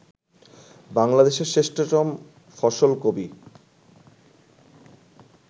বাংলাদেশের শ্রেষ্ঠতম ফসল কবি